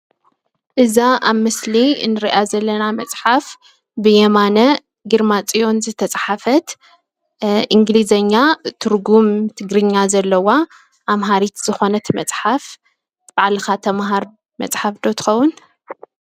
እዛ ኣብ ምስሊ እንሪኣ ዘለና መፅሓፍ ብየማነ ግርማፅዮን ዝተፅሓፈት እንግሊዘኛ ትርጉም ትግርኛ ዘለዋ ኣምሃሪት ዝኾነት መፅሓፍ ባዕልኻ ተምሃር መፅሓፍ ዶ ትኸውን ?